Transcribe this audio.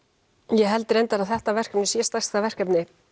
ég held reyndar að þetta verkefni sé stærsta verkefni